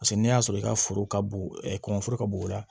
Paseke n'i y'a sɔrɔ i ka foro ka bon kɔngɔforo ka bon o la